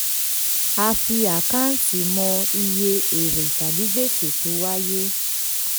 a fi àkáǹtì mọ iye èrè tàbí gbèsè tó wáyé.